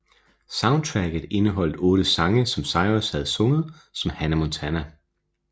Soundtracket indeholdte otte sange som Cyrus havde sunget som Hannah Montana